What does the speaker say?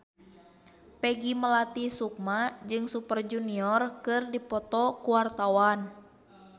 Peggy Melati Sukma jeung Super Junior keur dipoto ku wartawan